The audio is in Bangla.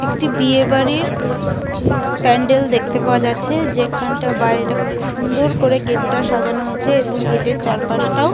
একটি বিয়ে বাড়ি প্যান্ডেল দেখতে পাওয়া যাচ্ছে যেখানটা বাইরে টাও খুব সুন্দর ভাবে গেট - টা সাজানো রয়েছে এবং গেট - এর চারপাশটাও--